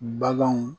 Baganw